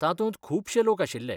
तातूंत खुबशे लोक आशिल्ले.